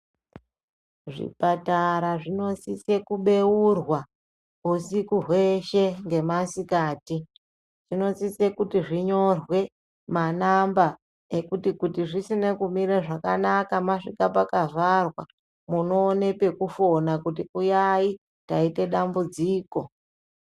Zvipatara zvinosisa kubeurwa husiku hweshe nemasikati zvinosisa kuti zvinyorwe manamba ekuti zvisina kumira zvakanaka masvika pakavharwa munoona pekufona kuti uyai taita dambudziko.